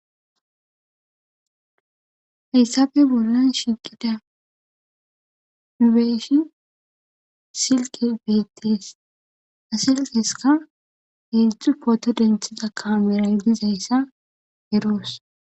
heyssappe bollan shiqida nu beyishin silkey beettees. ha silkeskka heedzdzu pooto denthiza kaameray dizayssa eroos.